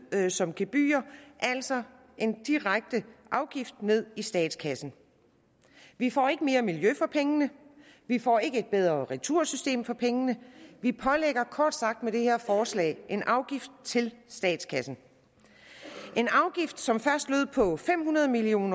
som gebyrer altså en direkte afgift ned i statskassen vi får ikke mere miljø for pengene vi får ikke et bedre retursystem for pengene vi pålægger kort sagt med det her forslag en afgift til statskassen en afgift som først lød på fem hundrede million